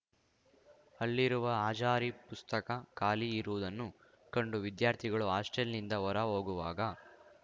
ಅಲ್ಲಿರುವ ಹಾಜಾರಿ ಪುಸ್ತಕ ಖಾಲಿ ಇರುವುದನ್ನು ಕಂಡು ವಿದ್ಯಾರ್ಥಿಗಳು ಹಾಸ್ಟೆಲ್‌ನಿಂದ ಹೊರ ಹೋಗುವಾಗ